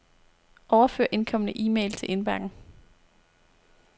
Overfør indkomne e-mail til indbakken.